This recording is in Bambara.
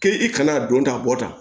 K'e i kana don ta bɔ tan